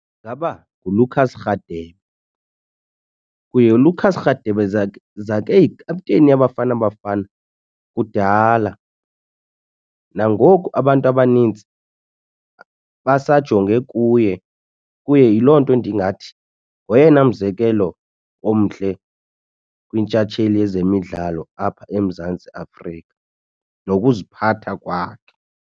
Ingaba nguLucas Radebe. Kuye uLucas Radebe zakeyikhapteyini yaBafana Bafana kudala. Nangoku abantu abanintsi basajonge kuye, kuye yiloo nto ndingathi ngoyena mzekelo omhle kwintshatsheli yezemidlalo apha eMzantsi Afrika nokuziphatha kwakhe.